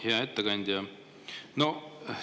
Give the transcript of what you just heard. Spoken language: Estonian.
Hea ettekandja!